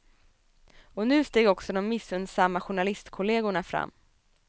Och nu steg också de missunsamma journalistkollegorna fram.